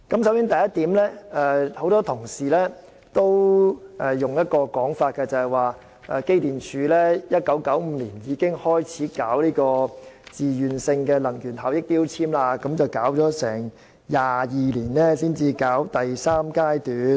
首先，很多同事都指出，機電工程署在1995年開始推行自願性能源效益標籤計劃 ，22 年後才進入第三階段。